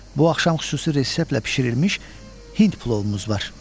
Bu axşam xüsusi reseplə bişirilmiş hind plovumuz var.